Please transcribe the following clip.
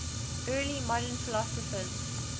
early modern philosophers